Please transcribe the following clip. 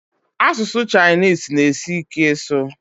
Asụsụ Chinese na asi ike ịsụ